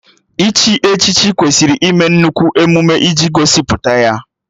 Iche echichi kwesịrị ịme nnukwu emume iji gosipụta ya